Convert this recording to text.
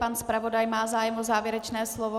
Pan zpravodaj má zájem o závěrečné slovo?